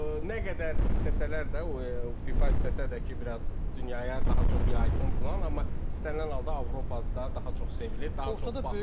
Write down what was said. Nə qədər istəsələr də, FIFA istəsə də ki, biraz dünyaya daha çox yaysın filan, amma istənilən halda Avropada daha çox sevilir, daha çox baxılır.